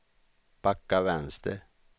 backa vänster